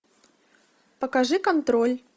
покажи контроль